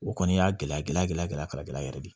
O kɔni y'a gɛlɛya gɛlɛya kala gɛlɛya yɛrɛ de ye